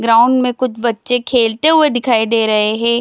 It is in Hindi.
ग्राउंड में कुछ बच्चे खेलते हुए दिखाई दे रहे हैं ।